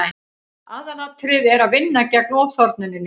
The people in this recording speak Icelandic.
aðalatriðið er að vinna gegn ofþornuninni